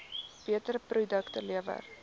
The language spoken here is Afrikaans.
beter produkte lewer